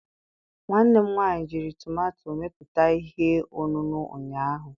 Nwanne m nwanyị jiri tomato mepụta ihe ọṅụṅụ ụnyaahụ